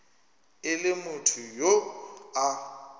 e le motho yo a